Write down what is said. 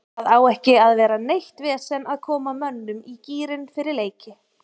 Það á ekki að vera neitt vesen að koma mönnum í gírinn fyrir leiki.